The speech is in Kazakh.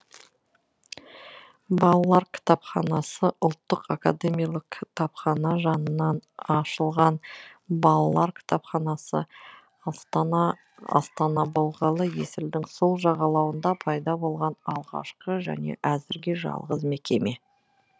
балалар кітапханасы ұлттық академиялық кітапхана жанынан ашылған балалар кітапханасы астана астана болғалы есілдің сол жағалауында пайда болған алғашқы және әзірге жалғыз мекеме